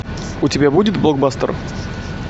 у тебя будет блокбастер